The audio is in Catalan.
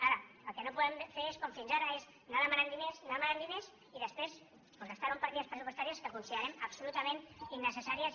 ara el que no podem fer com fins ara és anar demanant diners anar demanant diners i després gastar los en partides pressupostàries que considerem absolutament innecessàries